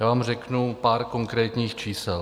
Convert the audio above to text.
Já vám řeknu pár konkrétních čísel.